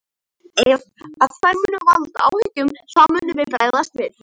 Ef að þær munu valda áhyggjum þá munum við bregðast við.